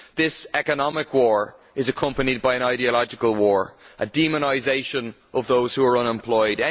This economic war is accompanied by an ideological war, a demonisation of those who are unemployed.